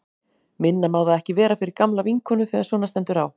Minna má það ekki vera fyrir gamla vinkonu þegar svona stendur á.